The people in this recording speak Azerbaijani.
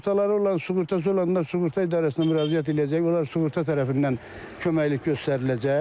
Sığortaları olan, sığortası olanlar sığorta idarəsinə müraciət eləyəcək, onlar sığorta tərəfindən köməklik göstəriləcək.